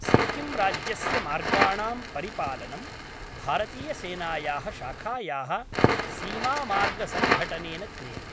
सिक्किम्राज्यस्य मार्गाणां परिपालनं, भारतीयसेनायाः शाखायाः सीमामार्गसङ्घठनेन क्रियते।